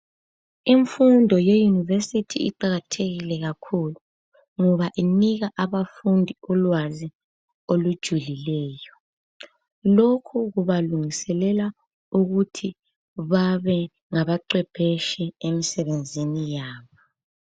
Imfundo ye yunevesiti iqakathekile kakhulu ngoba inika abafundi ulwazi olujulileyo. Lokhu kuba lungiselela ukuthi babe ngabaqephetshi emsebenzini yabo.